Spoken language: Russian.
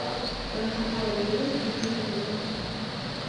в твоем каталоге есть дикий дикий запад